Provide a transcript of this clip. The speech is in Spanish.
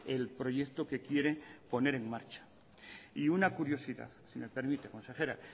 el proyecto que quiere poner en marcha y una curiosidad si me permite consejera